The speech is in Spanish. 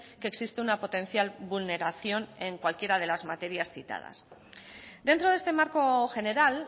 que existe una potencial vulneración en cualquiera de las materias citadas dentro de este marco general